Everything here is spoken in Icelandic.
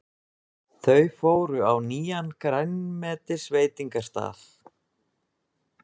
Þau fóru á nýjan grænmetisveitingastað.